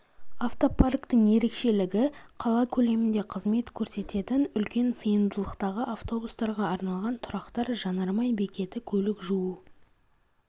автопарктің ерекшелігі қала көлемінде қызмет көрсететін үлкен сыйымдылықтағы автобустарға арналған тұрақтар жанармай бекеті көлік жуу